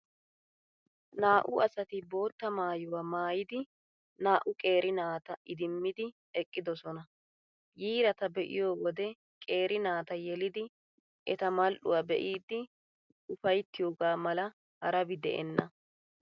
Naa''u asati boottaa maayuwaa maayidi naa''u qeeri naata idimmidi eqqidoosona. Yiirata be'iyoo wode, qeeri naata yelidi eta mal''uwaa be'iiddi ufayttiyooga mala harabi de'enna.